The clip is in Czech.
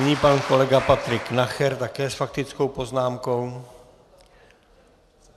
Nyní pan kolega Patrik Nacher také s faktickou poznámkou.